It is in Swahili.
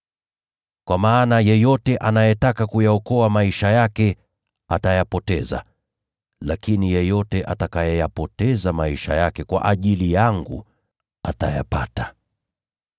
Kwa maana yeyote anayetaka kuyaokoa maisha yake atayapoteza, lakini yeyote atakayeyapoteza maisha yake kwa ajili yangu atayapata.